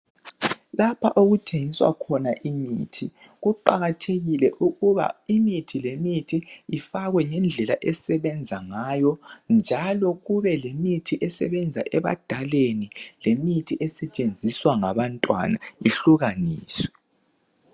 Lapha okuthengiswa khona imithi kuqakathekile ukuba imithi lemithi ifakwe ngendlela esebenza ngayo njalo kube lemithi esebenza ebadaleni lemithi esetshenziswa ngabantwana ihlukaniswe.